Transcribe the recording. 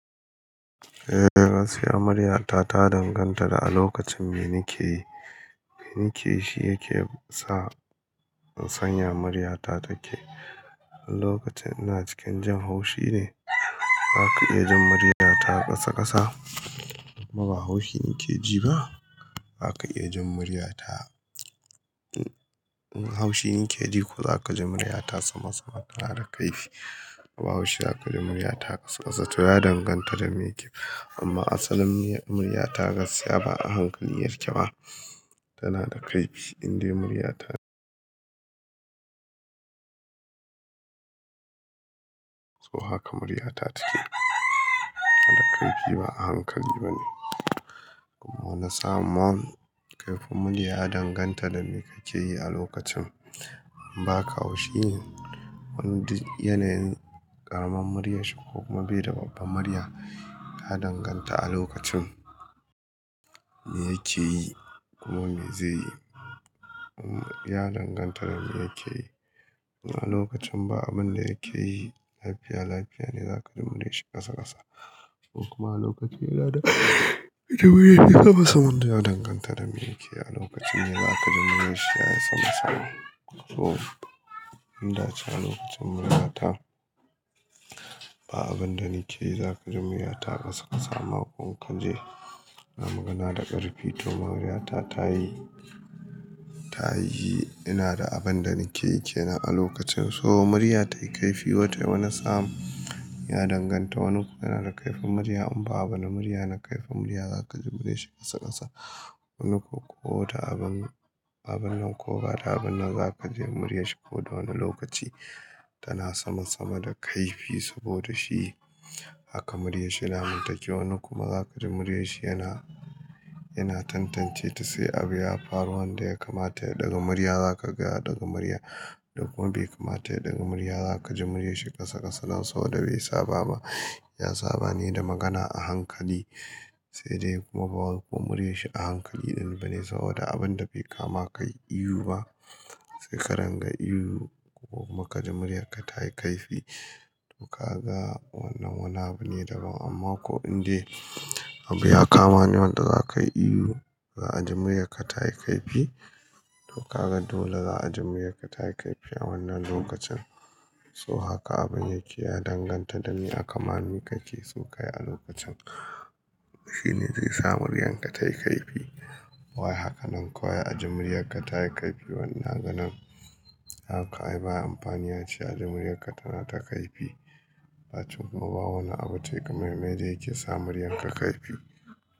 Eh, gaskiya murya ta ta danganta da a lokacin me nike yi, nike yi shi yake sa in san ya murya ta take. A lokacin ina cikin jan haushi ne, za ka iya jin murya ta ƙasa ƙasa in kuma ba haushi nike ji ba, zaka iya jin murya ta in haushi nike ji ko za ka ji murya ta sama sama, tana da kaifi. Ba haushi za ka ji murya ta ƙasa ƙasa, to ya danganta da me ke amma asalin murya ta gaskiya ba a hankali yake ba. Tana da kaffi, indai murya ta so haka murya ta take. Da kaifi ba a hankali ba ne. Samun kaifin murya ya danganta da me kake yi a lokacin. Ba ka haushi, wani du yanayin amman murya shi ko kuma bai da babba murya, ya danganta a lokacin me yake yi kuma me zai yi. Ya danganta da me yake yi. In a lokacin ba abin da yake yi lafiya lafiya ne, za ka ji murya shi ƙasa ƙasa ko kuma a lokacin ji muryar shi sama sama, ya danganta da me yake yi a lokacin ne za ka ji murya shi ya yi sama sama. So, in da can a lokacin murya ta, ba abin da nike yi za ka ji murya ta ƙasa ƙasa ma ko in kunji, ina magana da ƙarfi to murya ta ta yi, ta yi ina da abin da nike ke nan a lokacin. So murya tayi kaifi wata wane sam, ya danganta. Wani yana da karfin murya in ba abona murya na karfi murya za ka ji murya shi ƙasa ƙasa. Wani ko wata abin, abin nan ko wata abin nan za ka ji murya shi ko da wane lokaci tana sama sama da kaifi saboda shi haka murya shi dama take, wani kuma za ka ji murya shi yana, yana tantance ta, sai abu ya faru wanda ya kamata ya ɗaga murya za ka ga ya ɗaga murya. Kuma bai kamata ya ɗaga murya za ka ji murya shi ƙasa ƙasa nan so da bai saba ba. Ya saba ne da magana a hankali sai dai kuma ba ko murya shi a hankali ɗan ba ne saboda abin da bai kama kai ihu ba. Sai ka ranga ihu ko kuma ka ji murya ka ta yi kaifi, to ka ga wannan wannan abu ne daban. Amman ko in de abu ya kama ne wanda zakai ihu za a ji muryarka tayi kaifi to kaga dole za'a ji muryarka tayi kaifi a wanna lokaci so haka abin yake, ya danganta da me aka ma mi kake so ka yi a lokacin. Shi ne zai sa muryar ka ta yi kaifi bawai haka nan kuwa a ji murya ka ta yi kaifi wannan ganan haka ai baya amfani ya ce a ji murya ka tana ta kaifi. A to kuma ba wani abu tayi game me da yake sa muryar ka kaifi.